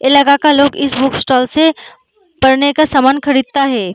इलाका का लोग इस बुक स्टॉल से पढ़ने का सामान खरीदता है।